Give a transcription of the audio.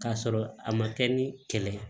K'a sɔrɔ a ma kɛ ni kɛlɛ ye